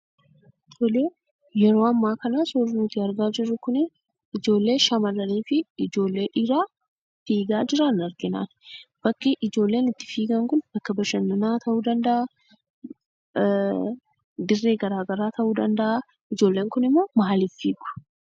Tolee, yeroo ammaa kana suurri nuti argaa jirru kuni ijoollee shamarranii fi ijoollee dhiiraa fiigaa jiran argina. Bakki ijoolleen itti fiigaa kun bakka bashannanaa ta'uu danda'a, Dirree garaa garaa ta'uu danda'a. Ijoolleen kunimmoo maaliif fiigu?